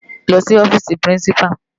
Lò si òfisi pirinsipá